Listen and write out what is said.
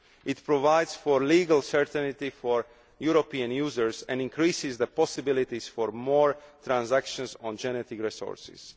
It provides for legal certainty for European users and increases the possibilities for transactions on genetic resources.